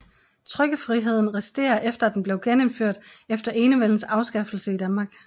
Trykkefriheden resterer efter at den blev genindført efter Enevældens afskaffelse i Danmark